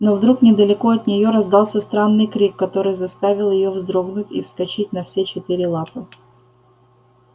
но вдруг недалеко от нее раздался странный крик который заставил её вздрогнуть и вскочить на все четыре лапы